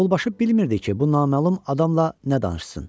Qaravulbaşı bilmirdi ki, bu naməlum adamla nə danışsın.